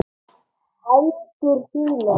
Hendur þínar.